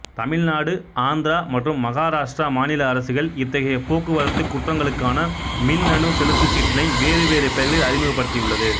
தமிழ்நாடுஆந்திரா மற்றும் மகாராஷ்டிரா மாநில அரசுகள் இத்தகைய போக்குவரத்து குற்றங்களுக்கான மின்னணு செலுத்துச் சீட்டினை வேறு வேறு பெயர்களில் அறிமுகப்படுத்தியுள்ளது